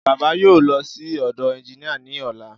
Baba yóò lọ sí ọ̀dọ̀ ẹnginíà ní ọ̀la